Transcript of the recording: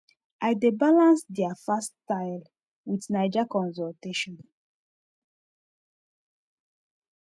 i dey balance their fast style with naija consultation